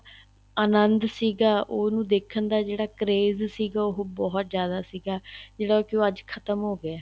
ਅਨੰਦ ਸੀਗਾ ਉਹਨੂੰ ਦੇਖਣ ਦਾ ਜਿਹੜਾ craze ਸੀਗਾ ਉਹ ਬਹੁਤ ਜਿਆਦਾ ਸੀਗਾ ਜਿਹੜਾ ਕੀ ਉਹ ਅੱਜ ਖ਼ਤਮ ਹੋ ਗਿਆ ਏ